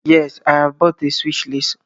Yes, I have bought a Swiss Lace